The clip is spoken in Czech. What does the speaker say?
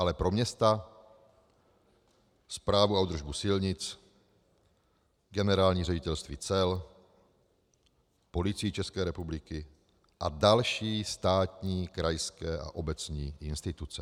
Ale pro města, správu a údržbu silnic, Generální ředitelství cel, Policii České republiky a další státní krajské a obecní instituce.